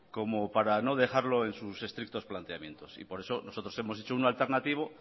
como para no dejarlo en sus estrictos planteamientos y por eso nosotros hemos hecho uno alternativo